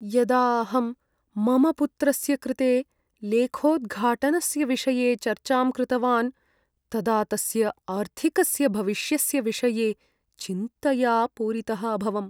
यदा अहं मम पुत्रस्य कृते लेखोद्घाटनस्य विषये चर्चां कृतवान् तदा तस्य आर्थिकस्य भविष्यस्य विषये चिन्तया पूरितः अभवम्।